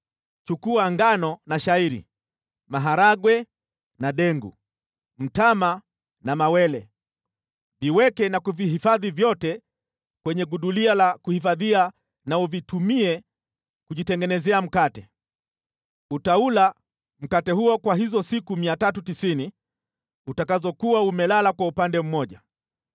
“Chukua ngano na shayiri, maharagwe na dengu, mtama na mawele, uviweke na kuvihifadhi vyote kwenye gudulia la kuhifadhia, na uvitumie kujitengenezea mkate. Utaula mkate huo kwa hizo siku 390 utakazokuwa umelala kwa upande mmoja.